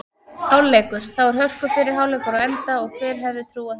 Hálfleikur: Þá er hörku fyrri hálfleikur á enda og hver hefði trúað þessu??